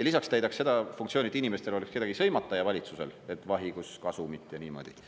ja lisaks täidaks seda funktsiooni, et inimestel oleks kedagi sõimata ja valitsusel, et vahi, kus on kasumit, ja niimoodi.